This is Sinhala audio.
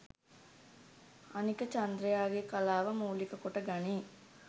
අනික චන්ද්‍රයාගේ කලාව මූලික කොට ගනී